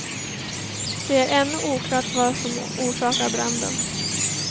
Det är ännu oklart vad som orsakade branden.